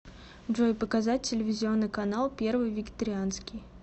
джой показать телевизионный канал первый вегетарианский